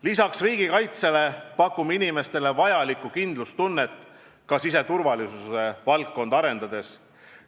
Lisaks riigikaitsele pakume inimestele vajalikku kindlustunnet ka siseturvalisuse valdkonda arendades.